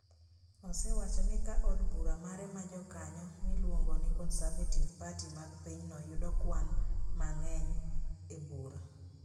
osewacho ni ka od bura mare ma jokanyo miluongo ni Conservative Party mag pinyno yudo kwan mang’eny e bura,